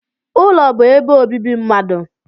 Ụlọ bụ ebe obibi mmadụ.